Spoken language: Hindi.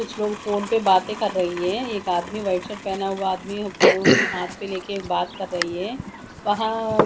कुछ लोग फोन पर बातें कर रही है एक आदमी वाइट शर्ट पहना हुआ आदमी फोन हाथ प लेके बात कर रही है वहां अ --